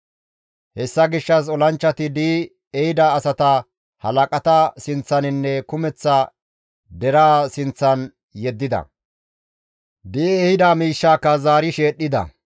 Hessa gishshas olanchchati di7i ehida asata halaqata sinththaninne kumeththa deraa sinththan yeddida; di7i ehida miishshaka zaari sheedhdhida.